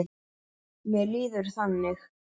Mér líður þannig.